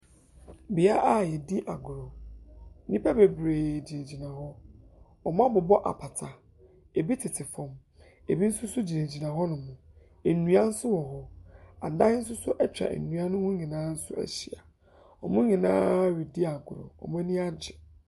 Bea a yɛdi agoro, nnipa bebree gyinagyina hɔ, wɔabobɔ apata, bi tete fam, binom nso gyinagyina hɔnom, nnua nso wɔ hɔ, adan nso atwa nnua ne ho nyinaa nso ahyia. Wɔn nyinaa redi agorɔ, wɔn ani agye.